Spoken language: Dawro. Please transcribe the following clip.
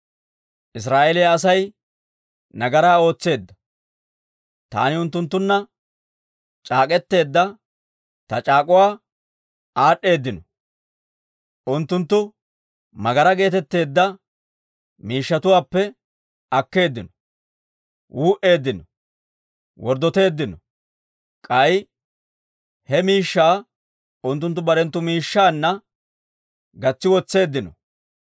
Israa'eeliyaa Asay nagaraa ootseedda; taani unttunttunna c'aak'k'etteedda ta c'aak'uwa aad'd'eeddino. Unttunttu tsiine geetetteedda miishshatuwaappe akkeeddino; wuu"eeddino; worddoteeddino. K'ay he miishshaa unttunttu barenttu miishshaanna gatsi wotseeddino.